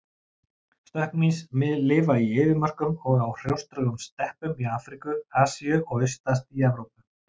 Stökkmýs lifa í eyðimörkum og á hrjóstrugum steppum í Afríku, Asíu og austast í Evrópu.